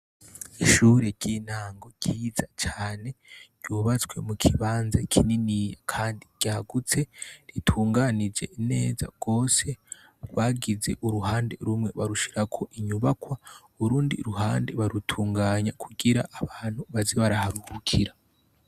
Ishure ryintango ryiza cane ryubatswe mukibanza kininiya kandi ryagutse ritunganije neza gose bagize uruhande rumwe barushirako inyubakwa urundi ruhande barutunganya kugira abantu baze baraharuhukira.